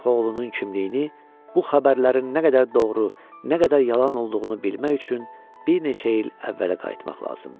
Şeyx oğlunun kimliyini bu xəbərlərin nə qədər doğru, nə qədər yalan olduğunu bilmək üçün bir neçə il əvvələ qayıtmaq lazımdır.